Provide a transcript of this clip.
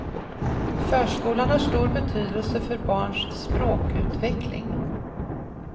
Förskolan har stor betydelse för barns språkutveckling.